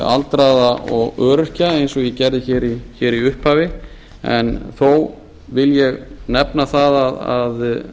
aldraða og öryrkja eins og ég gerði í upphafi en þó vil ég nefna það að